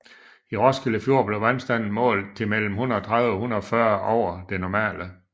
I Roskilde Fjord blev vandstanden målt til mellem 130 og 140 over det normale